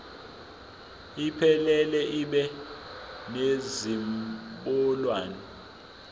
iphelele ibe nezinombolwana